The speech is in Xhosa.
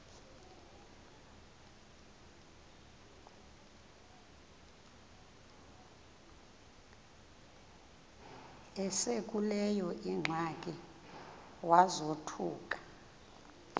esekuleyo ingxaki wazothuka